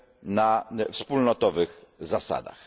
na wspólnotowych zasadach.